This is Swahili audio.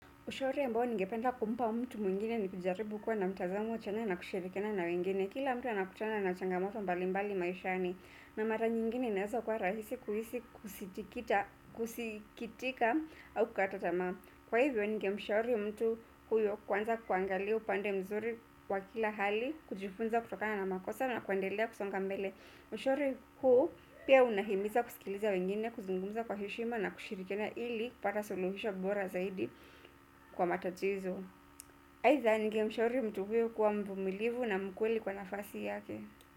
Ushauri ambao ningependa kumpa mtu mwingine ni kujaribu kuwa na mtazamo chanya na kushirikiana na wengine. Kila mtu anakutana na changamoto mbali mbali maishani. Na mara nyingine ninaeza kwa rahisi kuhisi kusikitika au kukata tamaa. Kwa hivyo ningemshauri mtu huyo kuanza kuangalia upande mzuri wa kila hali kujifunza kutokana na makosa na kuendelea kusonga mbele. Ushauri huu pia unahimiza kusikiliza wengine kuzungumza kwa heshima na kushirikina ili kupata suluhisho bora zaidi. Kwa matatizo. Aidha ningemshauri mtu huyu kuwa mvumilivu na mkweli kwa nafasi yake.